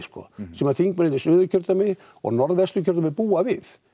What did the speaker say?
sem þingmennirnir í Suðurkjördæmi og norðvestur kjördæmi búa við